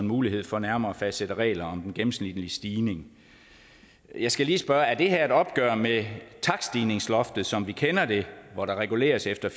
mulighed for nærmere at fastsætte regler om den gennemsnitlige stigning jeg skal lige spørge er det her et opgør med takststigningsloftet som vi kender det hvor der reguleres efter